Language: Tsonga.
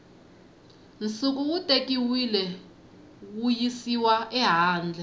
nsuku wu tekiwile wuyisiwa ehandle